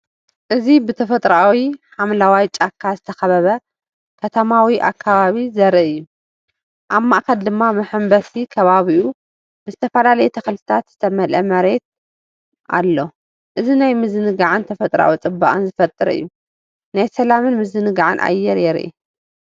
እዚ ብተፈጥሮኣዊ ሓምለዋይ ጫካ ዝተኸበበ ከተማዊ ከባቢ ዘርኢ እዩ። ኣብ ማእከል ድማ መሐንበሲን ከባቢኡ ብዝተፈላለዩ ተኽልታት ዝተመልአ መሬትን ኣሎ። እዚ ናይ ምዝንጋዕን ተፈጥሮኣዊ ጽባቐን ዝፈጥር እዩ፤ ናይ ሰላምን ምዝንጋዕን ኣየር ይርአ።